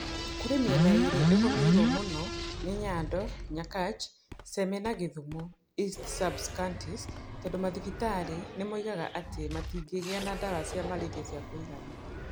Kũrĩ mĩena ĩrĩa ĩgũmĩire mũno nĩ Nyando, Nyakach, Seme na gĩthumo East sub-counties tondũ mathibitarĩ nĩ moigaga atĩ matingĩgĩa na ndawa cia malaria cia kũigana.